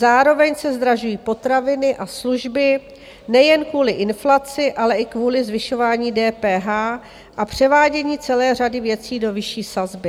Zároveň se zdražují potraviny a služby nejen kvůli inflaci, ale i kvůli zvyšování DPH a převádění celé řady věcí do vyšší sazby.